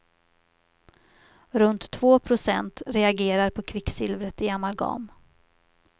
Runt två procent reagerar på kvicksilvret i amalgam.